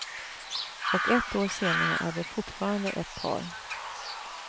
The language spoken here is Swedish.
Och ett år senare är detfortfarande ett par.